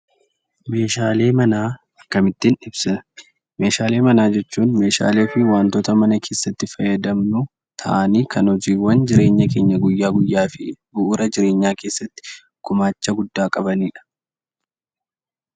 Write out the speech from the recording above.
Meeshaalee manaa akkamittiin ibsina? meeshaalee manaa jechuun meeshaalee fi wantoota mana keessatti fayyadamnu ta'anii kan hojiiwwan jireenya keenya guyyaa guyyaa fi bu'uura jireenyaa keessatti gumaacha guddaa qabaniidha.